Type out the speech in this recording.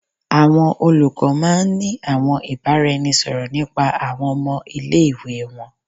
Awọn olukọ máà ń ní àwọn ìbáraẹnisọ̀rọ̀ nípa àwọn ọmọ ile-iwe wọn